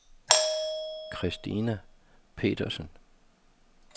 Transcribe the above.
Christina Petersen